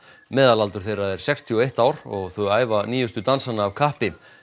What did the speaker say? meðalaldur þeirra er sextíu og eitt ár og þau æfa nýjustu dansana af kappi